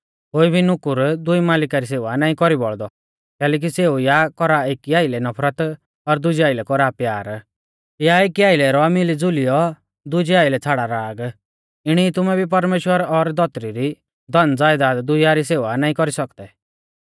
कोई भी नुकुर दुई मालिका री सेवा नाईं कौरी बौल़दौ कैलैकि सेऊ या कौरा एकी आइलै नफरत और दुजै आइलै कौरा प्यार या एकी आइलै रौआ मिली झ़ुलीऔ दुजै आइलै छ़ाड़ा राग इणी ई तुमै भी परमेश्‍वर और धौतरी री धनज़यदाद दुइया री सेवा नाईं कौरी सौकदै